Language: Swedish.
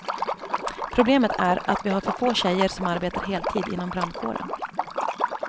Problemet är att vi har för få tjejer som arbetar heltid inom brandkåren.